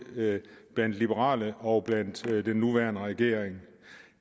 blandt liberale og den nuværende regering